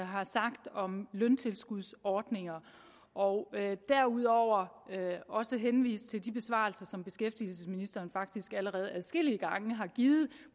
har sagt om løntilskudsordninger og derudover også henvise til de besvarelser som beskæftigelsesministeren faktisk allerede adskillige gange har givet